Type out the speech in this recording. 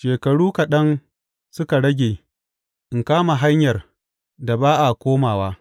Shekaru kaɗan suka rage in kama hanyar da ba a komawa.